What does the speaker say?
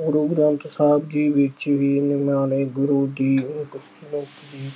ਗੁਰੂ ਗ੍ਰੰਥ ਸਾਹਿਬ ਜੀ ਵਿੱਚ ਵੀ ਇਹਨਾਂ ਨੇ ਗੁਰੂ ਦੀ ਅਹ